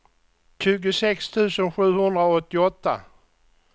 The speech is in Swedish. tjugosex tusen sjuhundraåttioåtta